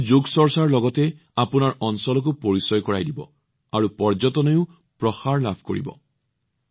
ই যোগৰ লগতে আপোনালোকৰ অঞ্চলৰ পৰিচয় বৃদ্ধি কৰিব আৰু পৰ্যটনো বিকশিত হব